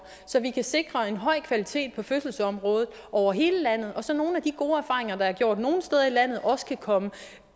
så vi kan sikre en høj kvalitet på fødselsområdet over hele landet og så nogle af de gode erfaringer der er gjort nogle steder i landet også kan komme